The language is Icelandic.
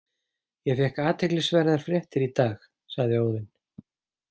Ég fékk athyglisverðar fréttir í dag, sagði Óðinn.